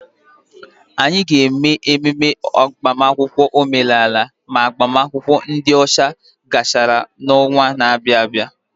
Anyị ga-eme agbamakwụkwọ omenala ma agbamakwụkwọ ndi ọcha gachara n'ọnwa na-abịa.